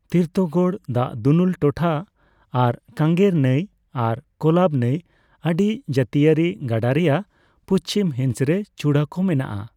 ᱛᱤᱨᱛᱷᱚᱜᱚᱲ ᱫᱟᱜ ᱫᱩᱱᱩᱞ ᱴᱚᱴᱷᱟ ᱟᱨ ᱠᱟᱝᱜᱮᱨ ᱱᱟᱹᱭ ᱟᱨ ᱠᱳᱞᱟᱵ ᱱᱟᱹᱭ ᱟᱲᱤ ᱡᱟᱹᱛᱭᱟᱹᱨᱤ ᱜᱟᱰᱟ ᱨᱮᱱᱟᱜ ᱯᱩᱪᱷᱤᱢ ᱦᱤᱸᱥ ᱨᱮ ᱪᱩᱲᱟᱹ ᱠᱚ ᱢᱮᱱᱟᱜᱼᱟ ᱾